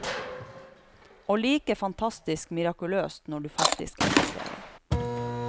Og like fantastisk mirakuløst når du faktisk er til stede.